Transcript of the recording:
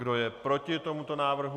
Kdo je proti tomuto návrhu?